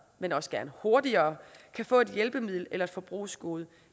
men også gerne hurtigere kan få et hjælpemiddel eller et forbrugsgode